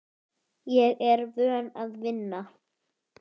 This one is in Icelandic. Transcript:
Ég er vön að vinna.